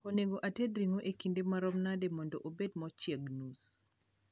onego ated ringo e kinde marom nade mondo obed mochieg nus